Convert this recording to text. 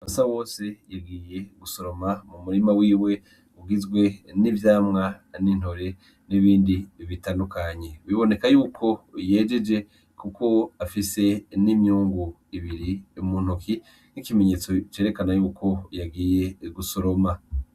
Basabose yagiye gusoroma mu murima wiwe ugizwe n'ivyamwa; n'intore; n'ibindi bitandukanye, biboneka yuko yejeje kuko afise n'imyungu ibiri mu ntoki nkikimenyetse cerekana yuko yagiye gusoroma.